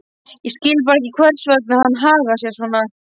Ég skil bara ekki hvers vegna hann hagar sér svona.